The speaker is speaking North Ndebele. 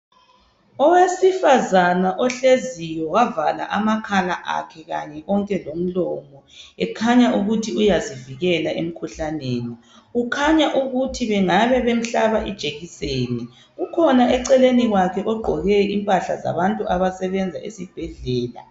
Owesifazana ohleziyo wavala amakhala akhe kanye konke lomlomo ekhanya ukuthi uyazivikela emkhuhlaneni. Kukhanya ukuthi bengabe bemhlaba ijekiseni. Kukhona eceleni kwakhe ogqoke impahla zabantu abasebenza esibhedlela.